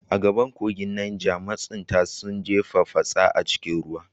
A gabar kogin Neja, masunta sun jefa fatsa a cikin ruwa.